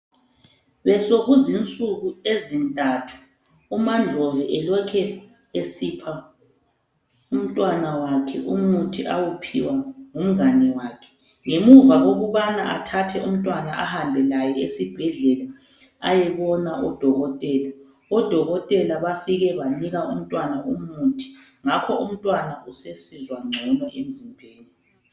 Besokuzinsuku ezintathu UmaNdlovu elokhe esipha umntwana wakhe umuthi awuphiwa ngu mngane wakhe ngemuva kokubana athathe umntwana ahambe laye esibhedlela ayebona odokotela, odokotela bafike banika umntwana umuthi ngakho umntwana usesizwa ngcono emzimbeni.